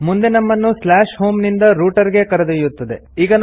ಮುಂದೆ ನಮ್ಮನ್ನು slash home ನಿಂದ ರೂಟ್ ಗೆ ಕರೆದೊಯ್ಯುತ್ತದೆ